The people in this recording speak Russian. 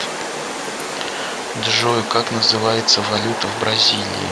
джой как называется валюта в бразилии